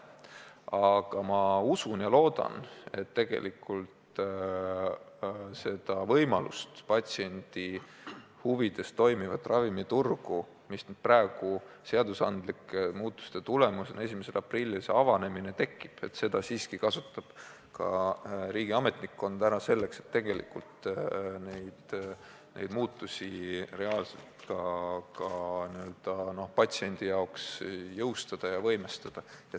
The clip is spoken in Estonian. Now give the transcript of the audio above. Aga ma usun, õigemini loodan, et seda võimalust, mis nüüd seadusandlike muudatuste tulemusena 1. aprillil tekib, kasutab ka riigi ametnikkond ära selleks, et tegelikult need patsiendi huvides ravimiturul tehtavad muudatused reaalselt jõustada ja võimestada.